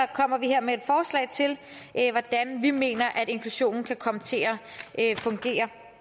kommer vi her med et forslag til hvordan vi mener at inklusionen kan komme til at fungere